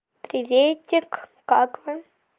приветик как вы